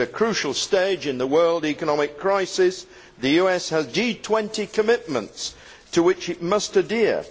We are at a crucial stage in the world economic crisis and the US has G20 commitments to which it must adhere.